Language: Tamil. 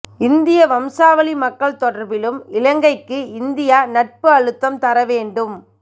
இந்திய வம்சாவளி மக்கள் தொடர்பிலும் இலங்கைக்கு இந்தியா நட்பு அழுத்தம் தர வேண்டும்